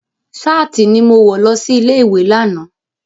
Ṣáàtì ni mo wọ lọ sí ilé ìwé lánàá.